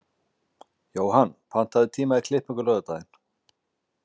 Jóhann, pantaðu tíma í klippingu á laugardaginn.